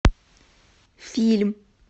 фильм